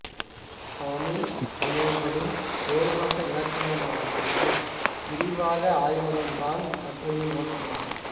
தமிழ் வினைகளின் வேறுபட்ட இலக்கணமயமாக்கத்தை விரிவாக ஆய்வதுதான் இக்கட்டுரையின் நோக்கமாகும்